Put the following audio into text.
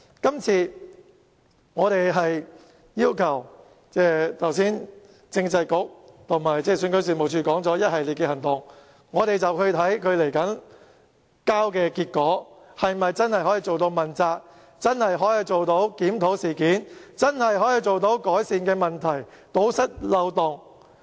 剛才政制及內地事務局和選舉事務處說會採取一系列行動，我們要看看他們交出來的結果，是否真的可以做到問責，真的可以做到檢討事件，真的可以改善問題，堵塞漏洞。